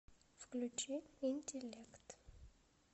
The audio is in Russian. включи интеллект